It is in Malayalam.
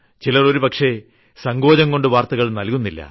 ചിലർ ഒരു പക്ഷേ സങ്കോചംകൊണ്ട് വാർത്തകൾ നൽകുന്നില്ല